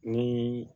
Ni